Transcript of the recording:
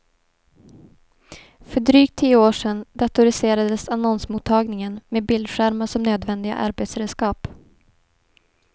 För drygt tio år sedan datoriserades annonsmottagningen med bildskärmar som nödvändiga arbetsredskap.